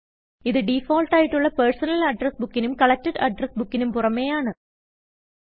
ഇത് ഡിഫാൾട്ട് ആയിട്ടുള്ള personal address book നും കലക്ടഡ് അഡ്രസ്സ് Bookനും പുറമേയാണ്